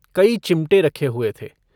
कई चिमटे रखे हुए थे।